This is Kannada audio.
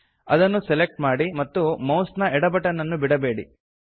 ಅದನ್ನು ಸೆಲೆಕ್ಟ್ ಮಾಡಿ ಮತ್ತು ಮೌಸ್ ನ ಎಡ ಬಟನ್ ಅನ್ನು ಬಿಡಬೇಡಿ